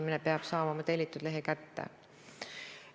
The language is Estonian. Kõik me teame segadust Ärma talule, nagu rahvas seda nimetab, toetuste väljastamisega.